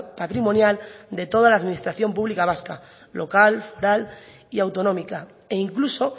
patrimonial de toda la administración pública vasca local foral y autonómica e incluso